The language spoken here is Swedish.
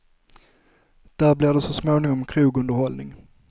Där blir det så småningom krogunderhållning.